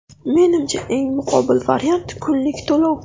Menimcha, eng muqobil variant - kunlik to‘lov.